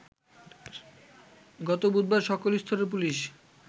গত বুধবার সকল স্তরের পুলিশ